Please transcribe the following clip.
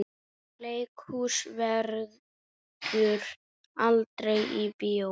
Leikhús verður aldrei bíó.